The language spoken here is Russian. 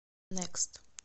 нэкст